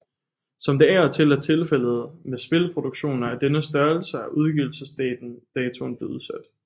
Som det af og til er tilfældet med spilproduktioner af denne størrelse er udgivelsesdatoen blevet udsat